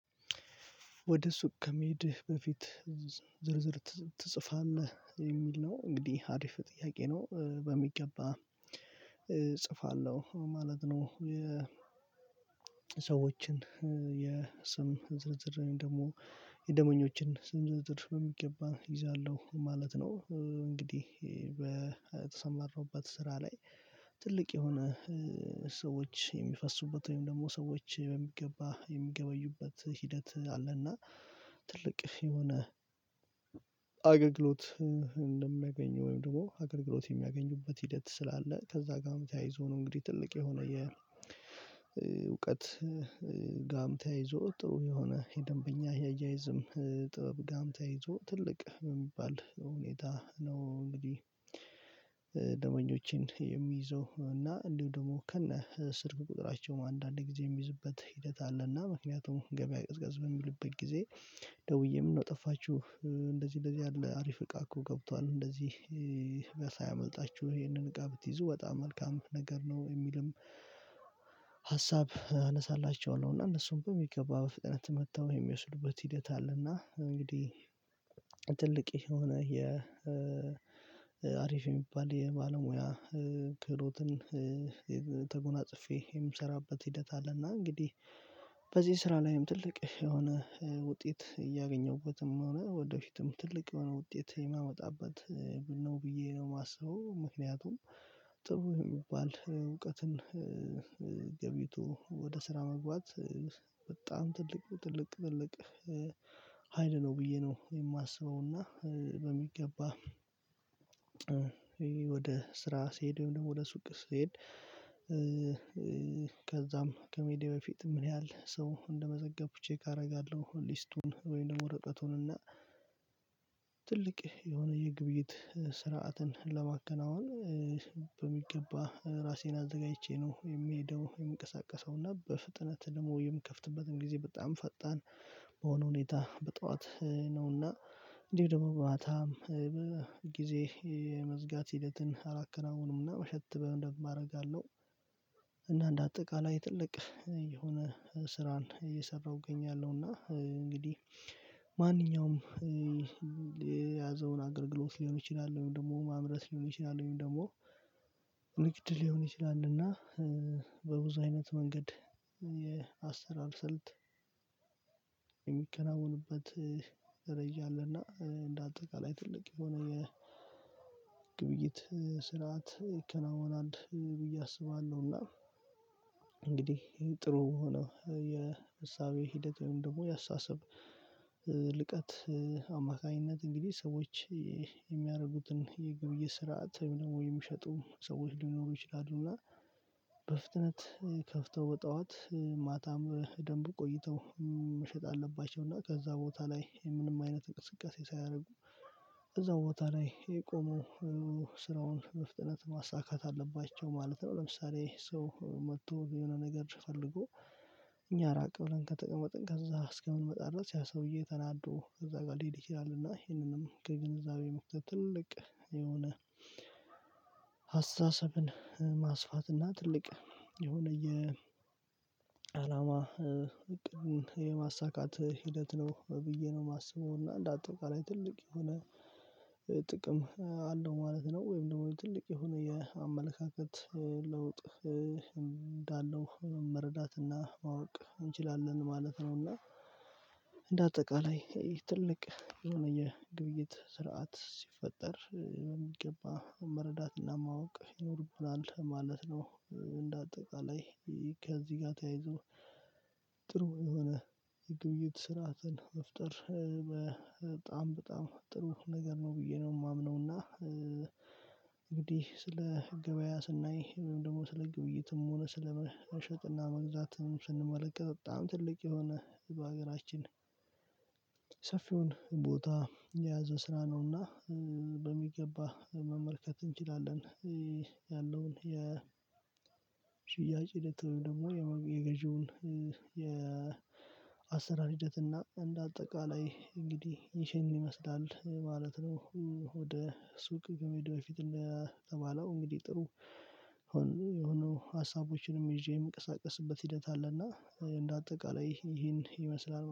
ወደ ሱቅ ከመሄድህ በፊት ዝርዝር ትጽፋለህ የሚል ነው እንግዲህ አሪፍ ጥያቄ ነው በሚገባ እጽፋለሁ ማለት ነው። ሰዎችን የስም ዝርዝር ደግሞ የደምበኞችን ስም ዝርዝር በሚገባ እይዛለሁ ማለት ነው። እንግዲህ በተሰማራሁበት ስራ ላይ ትልቅ የሆነ ሰዎች የሚፈሱበት ወይም ደግሞ ሰዎች በሚገባ የሚገበዩበት ሂደት ትልቅ የሆነ አገልግሎት እንደሚያገኙ ወይም ደግሞ አገልግሎት የሚያገኙበት ሂደት ስላለ ከዛ ጋርም ተያይዞ ነው። እንግዲህ ትልቅ የሆነ የእውቀት ጋምታ ይዞ ጥሩ የሆነ የደንበኛ አያያይዝም ጥበብ ጋምታ ይዞ ትልቅ የሚባል ሁኔታ ነው እንግዲህ። ደመኞቼን የሚይዘው እና እንዲሁ ደግሞ ከነ ስርጉ ቁጥራቸው አንዳንድ ጊዜ የሚይዝበት ሂደት አለና ምክንያቱም ገበያ ቀዝቀዝ በሚልበት ጊዜ ደውዬ ምን ነው ጠፋችሁ እንደዚህ እንደዚህ ያለ አሪፍ እቃ እኮ ገብቷል እንደዚህ ይሄንን እቃ ብትይዙ በጣም መልካም ነገር ነው። የሚልም ሀሳብ አነሳላችሁ እና እነሱም በሚገባ በፍጥነት መጥተው የሚወስዱበት ሂደት አለ። እና እንግዲህ ትልቅ የሆነ የአሪፍ የሚባል የባለሙያ ክህሎትን ተጎናጽፌ የምሰራበት ሂደት አለና። እንግዲህ በዚህ ስራ ላይም ትልቅ የሆነ ውጤት እያገኘሁበትም ሆነ ወደፊትም ትልቅ የሆነ ውጤት የማመጣበት ነው ብዬ ነው የማስበው። ምክንያቱም ጥሩ የሚባል እውቀትን ገብይቶ ወደ ስራ መግባት በጣም ትልቅ ትልቅ ትልቅ ሀይል ነው ብዬ ነው የማስበውና። በሚገባ ወደ ስራ ስሄድ ወይም ደግሞ ለሱቅ ስሄድ ከዛም ከሜዲ በፊት ምን ያህል ሰው እንደመዘገብኩ ቼክ አደርጋለሁ? ሊስቱን ወይም ወረቀቱን እና ትልቅ የሆነ የግብይት ስርዓትን ለማከናወን በሚገባ ራሴን አዘጋጅቼ ነው የሚሄደው የምቀሳቀሰው እና በፍጥነት ደግሞ የምከፍትበትን ጊዜ በጣም ፈጣን በሆነ ሁኔታ በጧት ነውና እንዲህ ደግሞ ማታ ጊዜ መዝጋት ሂደትን አላከናውንምና ምሽት በማድረግ አለው። እና እንደ አጠቃላይ ትልቅ የሆነ ስራን እየሰራሁ እገኛለሁና። እንግዲህ ማንኛውም የያዘውን አገር ግሎት ሊሆን ይችላል ወይም ደግሞ ማምረት ሊሆን ይችላል ወይም ደግሞ ንግድ ሊሆን ይችላልና። በብዙ አይነት መንገድ ስልት የሚከናወኑበት ይረዳልና እንደ አጠቃላይ ትልቅ የሆነ የግብይት ስርዓት ይከናወናል ብዬ አስባለሁ አስባለሁና። እንግዲህ ጥሩ ሆኖ የእሳቤ ሂደት ወይም ደግሞ ያሳሰብ ልቀት አማካኝነት እንግዲህ ሰዎች የሚያደርጉትን የግብይ ስርዓት የሚሸጡ ሰዎች ሊኖሩ ይችላሉና በፍጥነት ከፍተው በጥኋት ማታም ደግሞ ቆይተው መሸጥ አለባቸው እና ከዛ ቦታ ላይ ምንም አይነት እንቅስቃሴ ሳያደርጉ እዛው ቦታ ላይ የቆመው ስራውን መፍጠነት ማሳካት አለባቸው ማለት ነው። ለምሳሌ ሰው መጥቶ የሆነ ነገር ፈልጎ እኛ ራቅ ብለን ከጥቅም ወጥን ከዛ እስከምንመጣ ድረስ ያ ሰውዬ ተናዶ ከዛ ጋር ሊሄድ ይችላል። እና ይሄንንም ከግንዛቤ መክተት ትልቅ የሆነ አስተሳስብን ማስፋትና ትልቅ የሆነ የአላማ የማሳካት ሂደት ነው ብዬ ነው የማስበው። እና እንዳታውቃለኝ ትልቅ የሆነ ጥቅም አለው ማለት ነው ወይም ደግሞ ትልቅ የሆነ የአመለካከት ለውጥ እንዳለው መረዳትና ማወቅ እንችላለን ማለት ነው። እና እንደ አጠቃላይ ትልቅ የሆነ የግብይት ስርዓት ሲፈጠር በሚገባ መረዳትና ማወቅ ይኖርብናል ማለት ነው። እንደ አጠቃላይ ከዚህ ጋር ተያይዞ የሆነ የግብይት ስርዓትን መፍጠር በጣም በጣም ጥሩ ነገር ነው ብዬ ነው የማምነው። እና እንግዲህ ስለ ገበያ ስናይ ወይም ደግሞ ስለ ግብይትም ሆነ ስለ መሸጥና መግዛትም ስንመለከት በጣም ትልቅ የሆነ በሀገራችን ሰፊውን ቦታ የያዘ ስራ ነውና በሚገባ መመልከት እንችላለን። ያለውን የ ሽያጭ ደግሞ የገዢውን የአሰራር ሂደት እና እንደ አጠቃላይ እንግዲህ ይህንን ይመስላል ማለት ነው። ወደ ሱቅ ከመሄድ በፊት እንደተባለው እንግዲህ ጥሩ የሆኑ ሀሳቦችንም ይዤ የምቀሳቀስበት ሂደት አለና። እንደ አጠቃላይ ይሄን ይመስላል